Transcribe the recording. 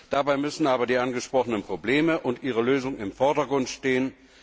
Dabei müssen aber die angesprochenen Probleme und ihre Lösungen im Vordergrund stehen.